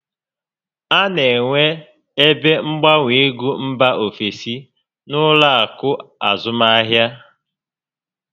A na enwe ebe mgbanwe égo mbà ofesi n'ụlọ akụ azụmahịa